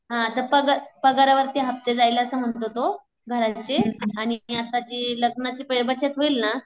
हा त पागा पगारावर्ती हफ्ते जाईल असं म्हणतो तो घरांचे आणि आता जे लग्नाची बचत होईल ना